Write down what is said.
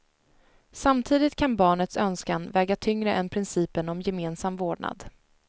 Samtidigt kan barnets önskan väga tyngre än principen om gemensam vårdnad.